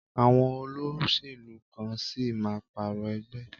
Àwọn olóṣèlú kan sì máa pààrọ̀ ẹgbẹ́.